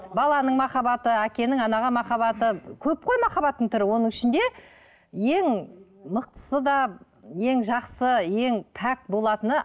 баланың махаббаты әкенің анаға махаббаты көп қой махаббаттың түрі оның ішінде ең мықтысы да ең жақсы ең пәк болатыны